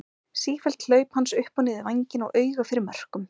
Sífelld hlaup hans upp og niður vænginn og auga fyrir mörkum.